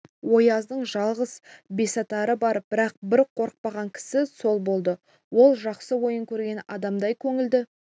ояздың жалғыз бесатары бар бірақ бір қорықпаған кісі сол болды ол жақсы ойын көрген адамдай көңілді